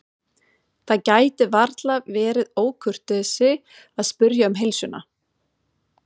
Það gæti varla verið ókurteisi að spyrja um heilsuna.